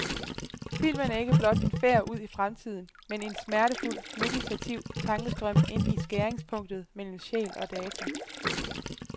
Filmen er ikke blot en færd ud i fremtiden, men en smertefuld, meditativ tankestrøm ind i skæringspunktet mellem sjæl og data.